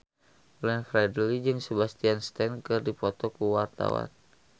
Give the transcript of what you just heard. Glenn Fredly jeung Sebastian Stan keur dipoto ku wartawan